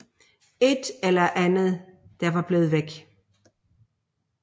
Et eller andet der var blevet væk